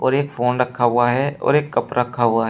और एक फोन रखा हुआ है और एक कप रखा हुआ है।